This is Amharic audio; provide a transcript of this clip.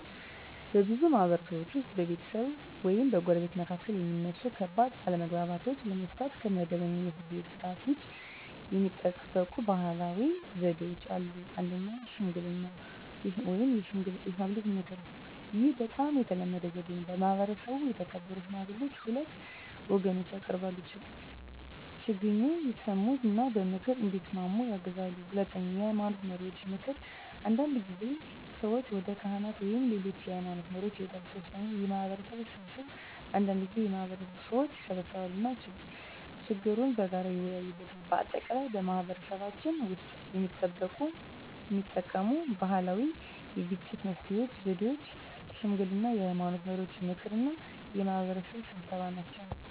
በብዙ ማህበረሰቦች ውስጥ በቤተሰቦች ወይም በጎረቤቶች መካከል የሚነሱ ከባድ አለመግባባቶችን ለመፍታት ከመደበኛው የፍርድ ቤት ሥርዓት ውጭ የሚጠቀሙ ባህላዊ ዘዴዎች አሉ። 1. ሽምግልና (የሽማግሌዎች ምክር) ይህ በጣም የተለመደ ዘዴ ነው። በማህበረሰቡ የተከበሩ ሽማግሌዎች ሁለቱን ወገኖች ያቀርባሉ፣ ችግኙን ይሰሙ እና በምክር እንዲስማሙ ያግዛሉ። 2. የሃይማኖት መሪዎች ምክር አንዳንድ ጊዜ ሰዎች ወደ ካህናት ወይም ሌሎች የሃይማኖት መሪዎች ይሄዳሉ። 3. የማህበረሰብ ስብሰባ አንዳንድ ጊዜ የማህበረሰቡ ሰዎች ይሰበሰባሉ እና ችግኙን በጋራ ይወያያሉ። በአጠቃላይ በማህበረሰባችን ውስጥ የሚጠቀሙት ባህላዊ የግጭት መፍትሄ ዘዴዎች ሽምግልና፣ የሃይማኖት መሪዎች ምክር እና የማህበረሰብ ስብሰባ ናቸው።